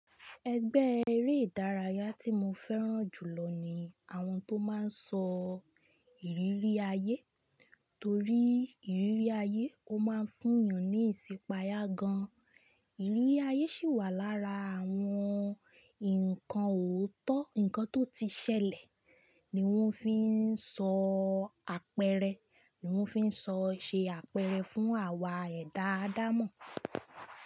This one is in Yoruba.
Ẹgbẹ́ eré ìdárayá tí mo fẹ́ràn jù lọ ni àwọn tó máa n sọ ìrírí ayé torí ìrírí ayé ó máa ń fún ènìyàn ní ìsipaya gan-an. Ìrírí ayé sì wà lára àwọn nǹkan òótọ́, nǹkan tó ti ṣẹlẹ̀ ni wọ́n fi n sọ apẹ̀erẹ, ni wọ́n fi n sọ ṣe apẹ̀erẹ fún àwa ẹ̀dá-àdámọ̀.